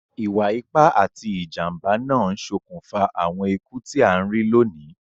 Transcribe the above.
Ìwa ipá ati ìjànbá náà n sokùnfà àwon ikú ti a n ri loní